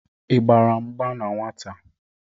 Igbara mgba na nnwata?